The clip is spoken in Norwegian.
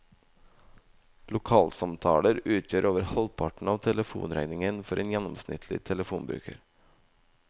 Lokalsamtaler utgjør over halvparten av telefonregningen for en gjennomsnittlig telefonbruker.